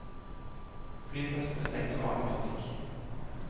Flyplassen ble stengt for vanlig trafikk.